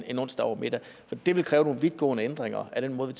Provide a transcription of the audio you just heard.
en onsdag over middag for det vil kræve nogle vidtgående ændringer af den måde